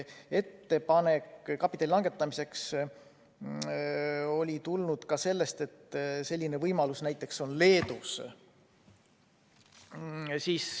Ettepanek kapitalinõuet langetada tuli ka sellest, et selline võimalus on näiteks Leedus.